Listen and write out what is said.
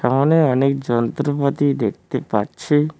অনেক অনেক যন্ত্রপাতি দেখতে পাচ্ছি।